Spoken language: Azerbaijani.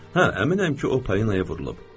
Hə, əminəm ki, o Parinaya vurulub.